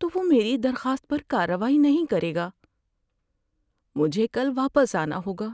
تو وہ میری درخواست پر کارروائی نہیں کرے گا۔ مجھے کل واپس آنا ہوگا۔